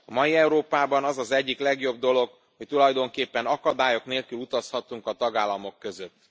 A mai Európában az az egyik legjobb dolog, hogy tulajdonképpen akadályok nélkül utazhatunk a tagállamok között.